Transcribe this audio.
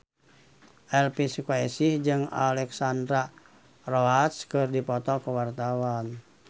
Elvi Sukaesih jeung Alexandra Roach keur dipoto ku wartawan